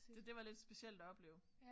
Så det var lidt specielt at opleve